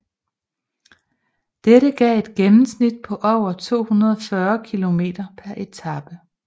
Dette gav et gennemsnit på over 240 km per etape